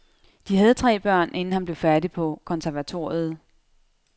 De havde tre børn inden han blev færdig på konservatoriet.